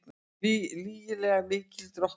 Lygilega mikil drottnun